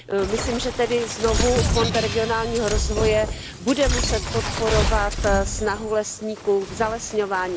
Myslím, že tedy znovu Fond pro regionální rozvoj bude muset podporovat snahu lesníků v zalesňování.